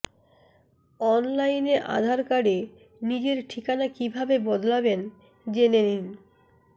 অনলাইনে আধার কার্ডে নিজের ঠিকানা কীভাবে বদলাবেন জেনে নিন